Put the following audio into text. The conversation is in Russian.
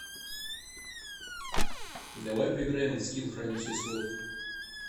давай поиграем в скил хранитель слов